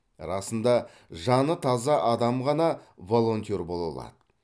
расында жаны таза адам ғана волонтер бола алады